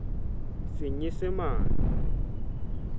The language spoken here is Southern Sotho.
senyesemane